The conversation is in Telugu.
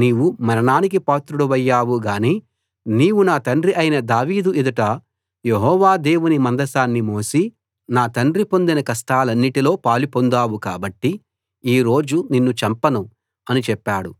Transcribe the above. నీవు మరణానికి పాత్రుడివయ్యావు గాని నీవు నా తండ్రి అయిన దావీదు ఎదుట యెహోవా దేవుని మందసాన్ని మోసి నా తండ్రి పొందిన కష్టాలన్నిటిలో పాలు పొందావు కాబట్టి ఈ రోజు నిన్ను చంపను అని చెప్పాడు